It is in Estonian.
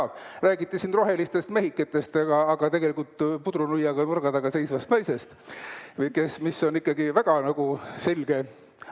Siin räägiti rohelistest mehikestest, aga tegelikult võib pudrunuiaga nurga taga seista naine, kes on ikkagi väga selge ...